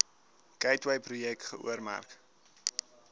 gateway projek geoormerk